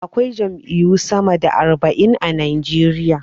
Akwai jam'iyyu sama da arba'in a Najeriya.